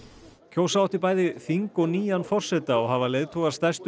kjósa átti bæði nýtt þing og nýjan forseta og hafa leiðtogar stærstu